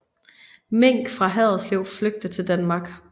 Mink fra Haderslev flygte til Danmark